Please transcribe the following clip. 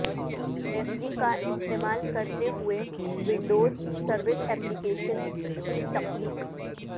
Delphi کا استعمال کرتے ہوئے ونڈوز سروس ایپلیکیشنز کی تخلیق